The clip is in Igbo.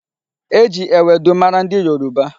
E ji ewedu mara ndị Yoruba.